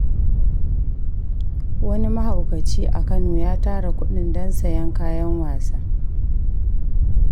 Wani mahaukaci a Kano ya tara kuɗin don sayen kayan wasa.